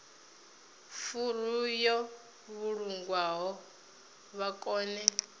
furu yo vhulungwaho vha kone